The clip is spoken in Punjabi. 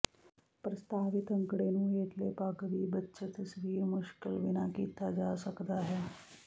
ਪ੍ਰਸਤਾਵਿਤ ਅੰਕੜੇ ਨੂੰ ਹੇਠਲੇ ਪਗ ਵੀ ਬੱਚੇ ਤਸਵੀਰ ਮੁਸ਼ਕਲ ਬਿਨਾ ਕੀਤਾ ਜਾ ਸਕਦਾ ਹੈ